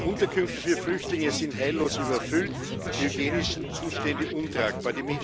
Die Unterkünfte für Flüchtlinge sind heillos überfüllt, die hygienischen Zustände untragbar.